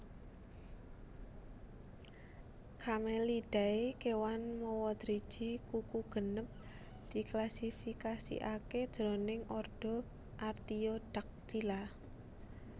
Camelidae kéwan mawa driji kuku genep diklasifikasikaké jroning ordo Artiodactyla